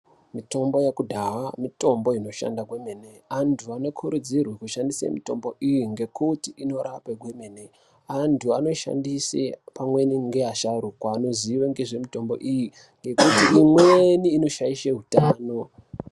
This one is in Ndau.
Mitombo yekudhaya mitombo inoshanda kwemene antu anokurudzirwe kushandise mitombo iyi ngekuti inorape kwemene. Antu anoshandise pamweni ngeyeasharukwa anozive ngezvemitombo iyi ngekuti imweni inoshaishe utano.